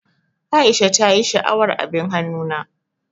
Aisha ta ƴi sha'awar abin hannu na.